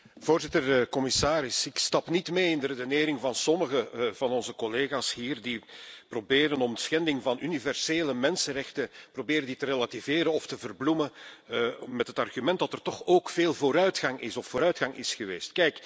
Voorzitter, commissaris, ik stap niet mee in de redenering van sommigen van onze collega's hier die proberen om schending van universele mensenrechten te relativeren of te verbloemen met het argument dat er toch ook veel vooruitgang is, of vooruitgang is geweest.